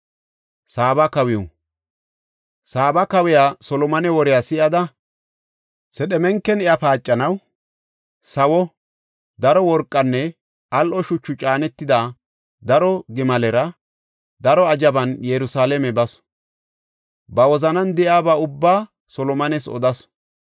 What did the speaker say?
Saaba kawiya Solomone woriya si7ada, sedhemenken iya paacanaw sawo, daro worqanne al7o shuchu caanetida daro gimalera, daro azhaban Yerusalaame basu. Ba wozanan de7iyaba ubbaa Solomones odasu.